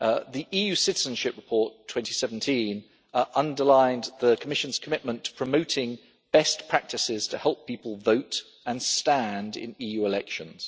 The EU citizenship report 2017 underlined the Commission's commitment to promoting best practices to help people vote and stand in EU elections.